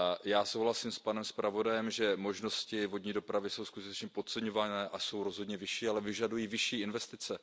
Já souhlasím s panem zpravodajem, že možnosti vodní dopravy jsou skutečně podceňovány a jsou rozhodně vyšší, ale vyžadují vyšší investice.